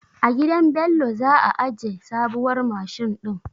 A gidan Bello za a aje sabuwar mashin din.